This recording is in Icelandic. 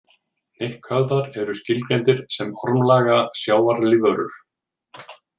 Hnykkhöfðar eru skilgreindir sem ormlaga sjávarlífverur.